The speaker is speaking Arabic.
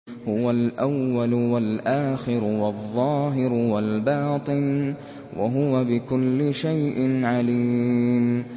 هُوَ الْأَوَّلُ وَالْآخِرُ وَالظَّاهِرُ وَالْبَاطِنُ ۖ وَهُوَ بِكُلِّ شَيْءٍ عَلِيمٌ